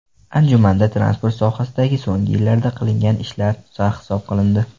Anjumanda transport sohasida so‘nggi yillarda qilingan ishlar sarhisob qilindi.